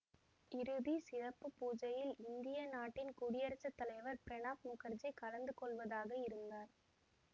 இறுதி சிறப்பு பூசையில் இந்திய நாட்டின் குடியரசு தலைவர் பிராணப் முகர்ஜி கலந்து கொள்வதாக இருந்தார்